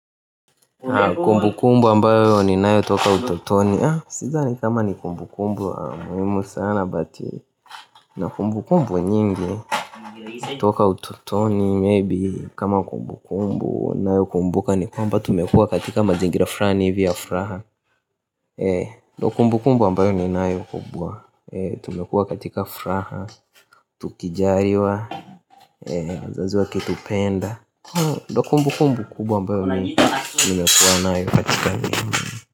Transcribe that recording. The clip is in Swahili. Kumbukumbu ambayo ninayo toka utotoni sidhani kama ni kumbukumbu muwimu sana but, ni kumbukumbu nyingi. Toka ututoni, maybe kama kumbukumbu nayokumbuka ni kwamba tumekua katika mazingira frani hivi ya fraha, ndo kumbu kumbu ambayo ninayo kubwa, tumekua katika fraha. Tukizaliwa wazazi wakitupenda ndio kumbukumbu kubwa ambayo mimi nimekuwa nayo katika.